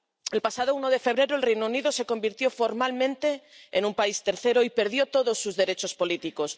El pasado 1 de febrero el Reino Unido se convirtió formalmente en un país tercero y perdió todos sus derechos políticos.